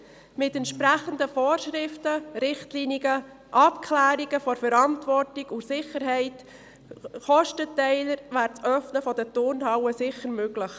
Mit entsprechenden Vorschriften, Richtlinien, Abklärungen bezüglich Verantwortung und Sicherheit sowie Kostenteiler wäre das Öffnen der Turnhallen sicher möglich.